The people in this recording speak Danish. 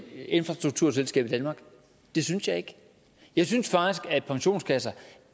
infrastrukturselskab i danmark det synes jeg ikke jeg synes faktisk at pensionskasser